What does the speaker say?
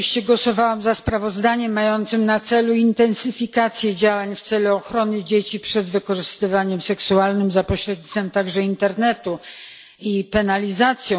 Oczywiście głosowałam za sprawozdaniem mającym na celu intensyfikację działań w celu ochrony dzieci przed wykorzystywaniem seksualnym za pośrednictwem także internetu i jego penalizację.